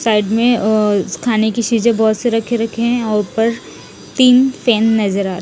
side में अ खाने की सीजे बोहोत से रखे रखे है और उपर तिन फेन नज़र आरे--